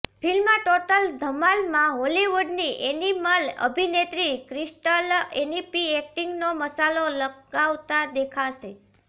film Total Dhamaal માં Hollywood ની animal અભિનેત્રી ક્રિસ્ટલ એનપી એક્ટિંગ નો મસાલો લગાવતા દેખાશે